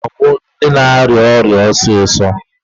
Ike na-agwụ ndị na-arịa ọrịa ọsịsọ.